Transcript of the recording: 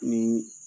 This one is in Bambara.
Ni